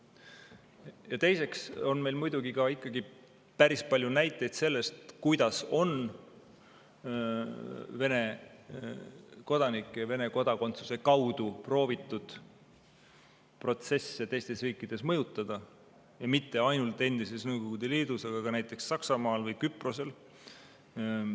Ja teiseks on meil muidugi ka ikkagi päris palju näiteid sellest, kuidas on Vene kodanike ja Vene kodakondsuse kaudu proovitud protsesse teistes riikides mõjutada, ja mitte ainult endises Nõukogude Liidus, vaid ka näiteks Saksamaal või Küprosel.